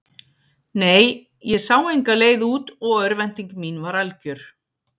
Nei, ég sá enga leið út og örvænting mín var algjör.